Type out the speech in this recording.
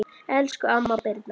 Elsku amma Birna.